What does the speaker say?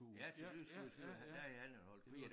Ja til dyrskue i Skive havde der havde han en hold kvier